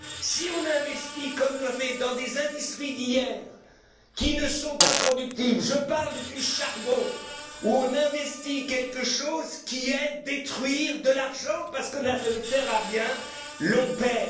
Si on investit, comme on l'a fait, dans des industries d'hier qui sont improductives je parle du charbon, où investir quelque chose revient à détruire de l'argent, parce que ça ne sert à rien on y